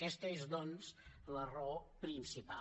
aquesta és doncs la raó principal